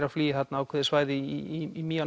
að flýja þarna ákveðið svæði í